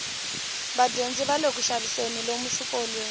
vadyondzi vale kuxaviseni lomu swikolweni